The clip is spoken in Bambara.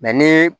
ni